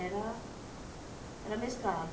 Era era mesclado.